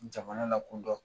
Jamana lakodɔn